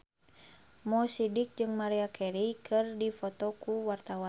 Mo Sidik jeung Maria Carey keur dipoto ku wartawan